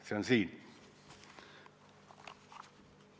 See on siin.